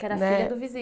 Que era filha do